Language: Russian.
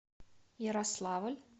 ярославль